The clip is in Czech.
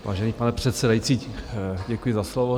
Vážený pane předsedající, děkuji za slovo.